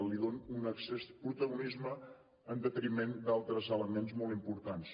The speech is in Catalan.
li dona un excés de protagonisme en detriment d’altres elements molt importants